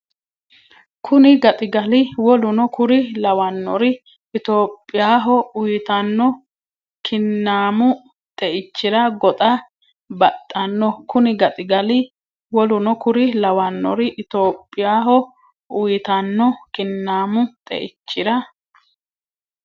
Kuni gaxigali woluno kuri lawannori Itophiyaho uytanno kinnaamu xeichira goxa baxanno Kuni gaxigali woluno kuri lawannori Itophiyaho uytanno kinnaamu xeichira.